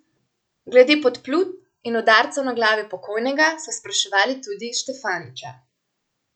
Glede podplutb in udarcev na glavi pokojnega so spraševali tudi Štefaniča.